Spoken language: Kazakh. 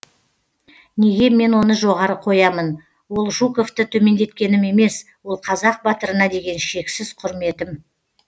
неге мен оны жоғары қоямын ол жуковты төмендеткенім емес ол қазақ батырына деген шексіз құрметім